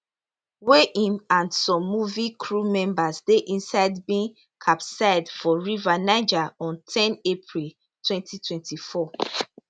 wey im and some movie crew members dey inside bin capsize for river niger on ten april 2024